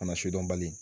Kana sidɔn bali